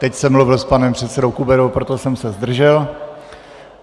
Teď jsem mluvil s panem předsedou Kuberou, proto jsem se zdržel.